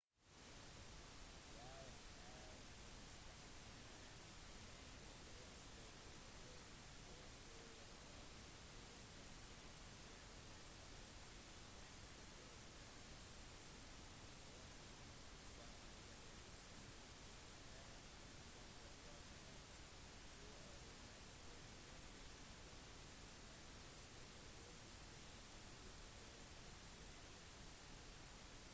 vi har kjennskap med mange greske politikere forskere og musikere den mest kjente personen fra denne kulturen er mest sannsynlig homer den legendariske blinde dikteren som komponerte to av mesterverkene som finnes i gresk litteratur diktene iliad og odyssey